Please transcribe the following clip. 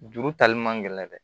Juru tali man gɛlɛn dɛ